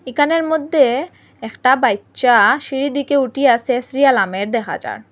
এখানের মধ্যে একটা বাইচ্চা সিঁড়ি দিকে উঠি আছে দেখা যার ।